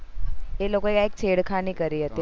એ લોકો યે એક છેડખાની કરી હતી